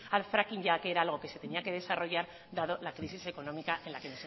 al fracking ya que era algo que se tenía que desarrollar dado la crisis económica en la que